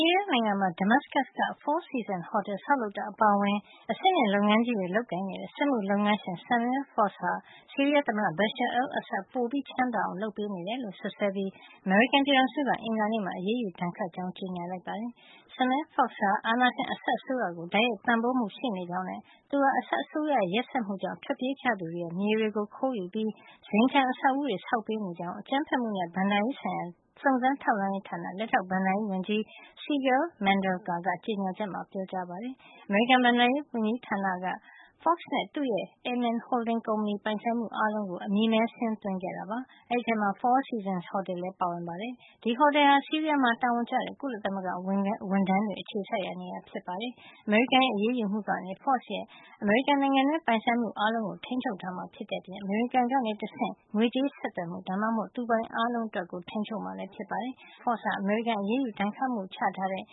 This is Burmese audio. ီးယား နိုင်ငံမှာ Damascus က Four Seasons ဟော်တယ် ဆောက်လုပ်တာ အပါအဝင် အဆင့်မြင့်လုပ်ငန်းကြီးတွေ လုပ်ကိုင်နေတဲ့ စက်မှုလုပ်ငန်းရှင် Samer Foz ဟာ ဆီးရီးယားသမ္မတ Bashar al-Assad ကို ပိုချမ်းသာအောင် လုပ်ပေးနေတယ်လို့ စွပ်စွဲပြီး အမေရိကန်ပြည်ထောင်စုက အင်္ဂါနေ့မှာ အရေးယူဒဏ်ခတ် ကြောင်း ကြေညာလိုက်ပါတယ်။ Samer Foz ဟာ အာဏာရှင် Assad အစိုးရကို တိုက်ရိုက်ပံ့ပိုးမှု ရှိနေကြောင်းနဲ့ သူဟာ Assad အစိုးရရဲ့ ရက်စက်မှုကြောင့် ထွက်ပြေးကြသူတွေရဲ့ မြေတွေကို ခိုးယူပြီး ဇိမ်ခံအဆောက်အဦးတွေ ဆောက်ပေးနေကြောင်း အကြမ်းဖက်မှုနဲ့ ဘဏ္ဍာရေးဆိုင်ရာ စုံစမ်းထောက်လှန်းရေးဌာန လက်ထောက် ဘဏ္ဍာရေးဝန်ကြီး Sigal Mandelker က ကြေညာချက်မှာ ပြောကြားပါတယ်။ အမေရိကန် ဘဏ္ဍာရေးဝန်ကြီးဌာနက Foz နဲ့ သူ့ရဲ့ Aman Holding Company ပိုင်ဆိုင်မှု အားလုံးကို အမည်မည်းစာရင်း သွင်းခဲ့တာပါ။ ဒီအထဲမှာ Four Seasons ဟော်တယ်လည်း ပါဝင်ပါတယ်။ ဒီဟော်တယ်ဟာ ဆီးရီးယားမှာ တာဝန်ကျတဲ့ ကုလသမဂ္ဂ ဝန်ထမ်းတွေ အခြေစိုက်ရာနေရာ ဖြစ်ပါတယ်။ အမေရိကန်ရဲ့ အရေးယူမှုကနေ Foz ရဲ့ အမေရိကန်နိုင်ငံတွင်း ပိုင်ဆိုင်မှု အားလုံးကို ထိန်းချုပ်မှာ ဖြစ်တဲ့အပြင် အမေရိကန်ကနေ တဆင့် ငွေးကြေး ဆက်သွယ်မှု ဒါမှမဟုတ် သူ့ပိုင်အားလုံး အတွက် ထိန်းချုပ်မှာ ဖြစ်ပါတယ်။ Foz ဟာ အမေရိကန် အရေးယူ ဒဏ်ခတ်မှုချထားတဲ့